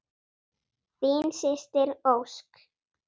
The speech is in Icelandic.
Þín systir, Ósk.